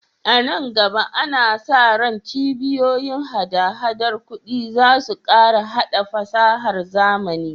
A nan gaba, ana sa ran cibiyoyin hada-hadar kuɗi za su ƙara haɗa fasahar zamani.